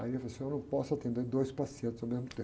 Aí ele falou assim, eu não posso atender dois pacientes ao mesmo tempo.